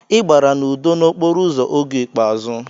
Ị gbara n'udo n'okporo ụzọ oge ikpeazụ.